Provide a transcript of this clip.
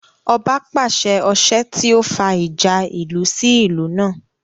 Ọba pàṣẹ ọsẹ́ tí ó fa ìjà ìlú sí ìlú náà